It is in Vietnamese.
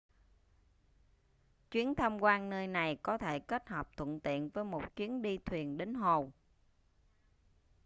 chuyến tham quan nơi này có thể kết hợp thuận tiện với một chuyến đi thuyền đến hồ